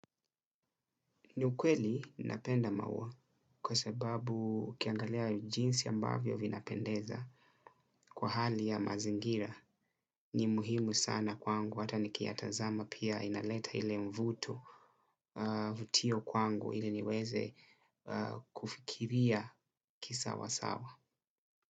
Ni ukweli napenda maua kwa sababu ukiangalia jinsi ambavyo vinapendeza kwa hali ya mazingira ni muhimu sana kwangu hata nikiyatazama pia inaleta ile mvuto vutio kwangu ili niweze kufikiria kisawa sawa.